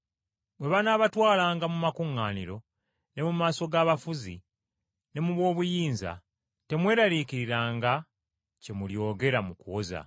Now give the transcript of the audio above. “Bwe banaabatwalanga mu makuŋŋaaniro, ne mu maaso g’abafuzi ne mu b’obuyinza temweraliikiriranga kye mulyogera mu kuwoza,